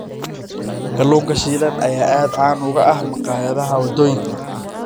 Kalluunka shiilan ayaa aad caan uga ah maqaayadaha waddooyinka.